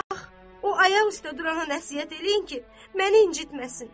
o ayaq üstə durana nəsihət eləyin ki, məni incitməsin.